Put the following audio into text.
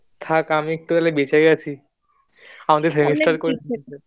থাক আমি একটু হলে বেঁচে গেছি আমাদের করতে